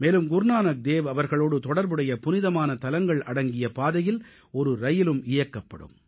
மேலும் குருநானக் தேவ் அவர்களோடு தொடர்புடைய புனிதமான தலங்கள் அடங்கிய பாதையில் ஒரு ரயிலும் இயக்கப்படும்